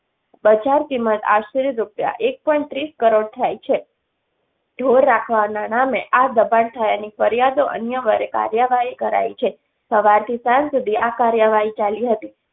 બજાર કિમત આશરે રૂપિયા એક point ત્રીસ કરોડ થાય છે ઢોર રાખવાના નામે આ દબાણ થયાની ફરિયાદો અન્યવરે કાર્યવાહી કરાઈ છે. સવારથી સાંજ સુધી આ કાર્યવાહી ચાલી હતી.